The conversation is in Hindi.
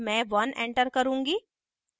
मैं 1 एंटर करुँगी